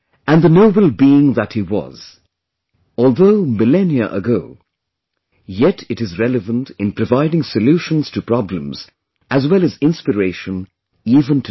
And the noble being that he was; although millennia ago, yet it is relevant in providing solutions to problems as well as inspiration even today